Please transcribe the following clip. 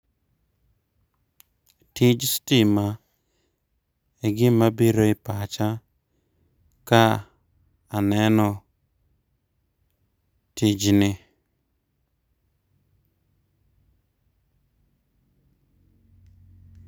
Tij stima e gima biro e pacha ka aneno tijni